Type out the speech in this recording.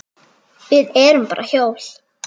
Við erum bara hjól.